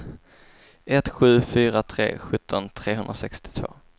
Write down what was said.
ett sju fyra tre sjutton trehundrasextiotvå